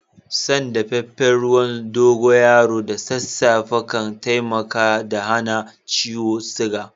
San dafafen ruwan dogoyaro da sasafe kan taimaka da hana ciwon suga.